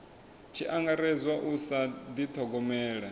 tshi angaredzwa u sa dithogomela